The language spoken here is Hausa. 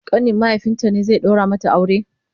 ƙanin mahaifinta ne zai daura mata aure?